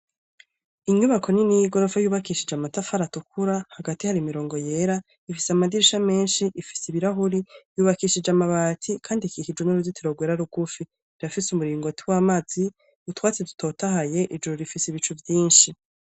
Inyubako nini y'igoropfa yubakishije amatafari atukura hagati hari mirongo yera ifise amadirisha menshi ifise ibirahuri yubakishije amabati, kandi ikikijwe n'uruzitiro rwera rugufi irafise umuringoti w'amazi utwatsi dutotahaye ijuru rifise ibicu vyinshi.